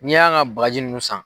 N'i y'an ka bagaji ninnu san.